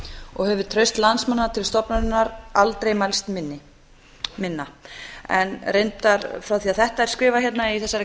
og hefur traust landsmanna til stofnunarinnar aldrei mælst minna en reyndar frá því að þetta er skrifað hérna í þessari